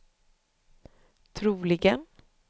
troligen